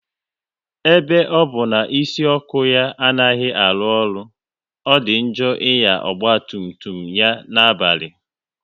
Ebe ọ bụ na isi ọkụ ya anaghị arụ ọrụ, ọ dị njọ ịnya ọgba tum tum ya na-abalị